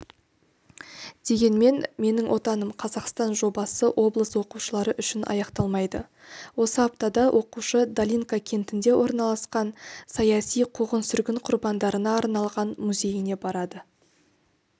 дегенмен менің отаным-қазақстан жобасы облыс оқушылары үшін аяқталмайды осы аптада оқушы долинка кентінде орналасқан саяси қуғын-сүргін құрбандарына арналған музейіне барады